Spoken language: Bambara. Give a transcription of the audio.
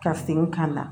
Ka segin ka na